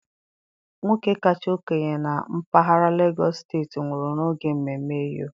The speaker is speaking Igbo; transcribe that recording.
Nwoke kacha okenye na mpaghara Legọs steti nwụrụ n'oge mmemme Eyo.